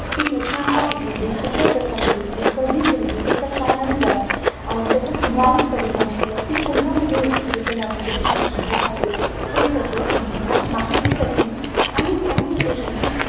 ती घटना का घडली कश्याप्रकारे घडली कधी घडली त्याच कारण काय आणि त्याचा कुणावर परिणाम झाला ती कुणावर घटना घडली किंवा युद्ध झाले हे सर्व तुम्हाला माहीत असणे आणि त्यामध्ये लिहीण